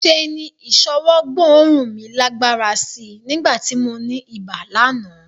Ṣe ni ìṣọwọ́ gbóòórùn mi lágbára sí í nígbà tí mo ní ibà lánàá